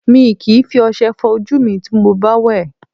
Mi kìí fi ọṣẹ fọ ojú mi ti mo bá wẹ̀